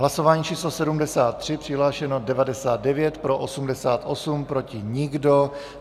Hlasování číslo 73, přihlášeno 99, pro 88, proti nikdo.